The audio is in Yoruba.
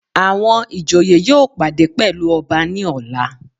Àwọn ìjòyè yóò pàdé pẹ̀lú ọba ní ọ̀la.